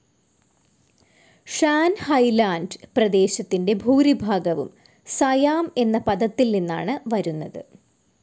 Shaan highland പ്രദേശത്തിന്റെ ഭൂരിഭാഗവും Siam എന്ന പദത്തിൽ നിന്നാണ് വരുന്നത്.